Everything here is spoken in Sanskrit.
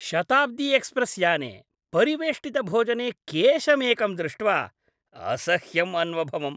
शताब्दी एक्स्प्रेस् याने परिवेष्टितभोजने केशमेकं दृष्ट्वा असह्यम् अन्वभवम्।